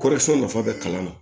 Kɔri sɛnɛ nafa bɛ kalan na